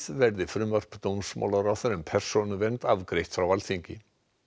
verði frumvarp dómsmálaráðherra um persónuvernd afgreitt frá Alþingi